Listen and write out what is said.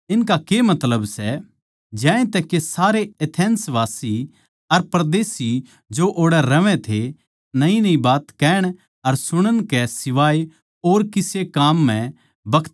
ज्यांतै के सारे एथेंसवासी अर परदेशी जो ओड़ै रहवै थे नयीनयी बात कहण अर सुणन कै सिवाए और किसे काम म्ह बखत कोनी बितावैं थे